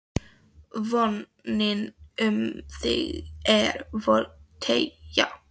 VONIN um þig er volg teygja